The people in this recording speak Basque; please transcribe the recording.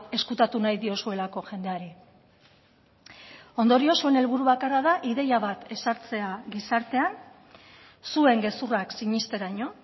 ezkutatu nahi diozuelako jendeari ondorioz zuen helburu bakarra da ideia bat ezartzea gizartean zuen gezurrak sinesteraino